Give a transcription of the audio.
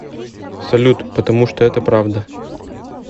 салют потому что это правда